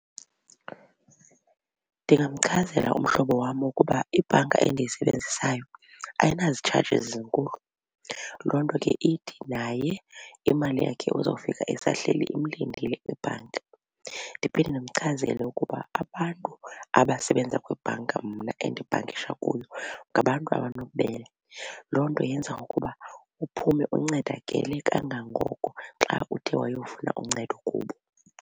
Ndingamchazela umhlobo wam ukuba ibhanka endiyisebenzisayo ayinazitshajizi zinkulu. Loo nto ke ithi naye imali yakhe uzawfika isahleli imlindile kwibhanki. Ndiphinde ndimchazele ukuba abantu abasebenza kwibhanka mna endibhankisha kuyo ngabantu abanobubele. Loo nto yenza ukuba uphume uncedakale kangangoko xa uthe wayofuna uncedo kubo.